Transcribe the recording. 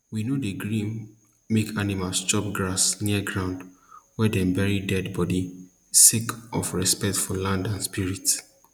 we no dey gree make animals chop grass near ground wey dem bury dead body sake of respect for land and spirits